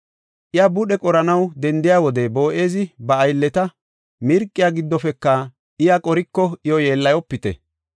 Iya budhe qoranaw dendiya wode, Boo7ezi ba aylleta, “Mirqiya giddofeka iya qoriko iyo yeellayopite.